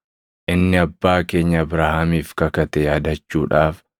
inni abbaa keenya Abrahaamiif kakate yaadachuudhaaf,